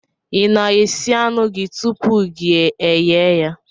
I na-esi anụ gị tupu gị eyee ya?